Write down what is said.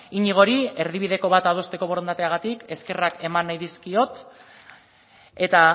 iñigori erdibideko bat adosteko borondateagatik eskerrak eman nahi dizkiot eta